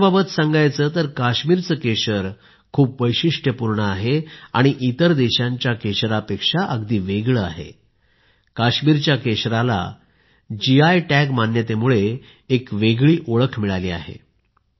दर्जाबाबत बोलायचं तर काश्मीरचे केशर खूप वेगळं आहेआणि इतर देशांच्या केशरापेक्षा अगदी वेगळं आहे काश्मीरच्या केशरला जीआय टॅग मान्यतेमुळे एक वेगळी ओळख मिळाली आहे